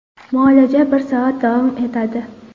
Muolaja bir soat davom etadi.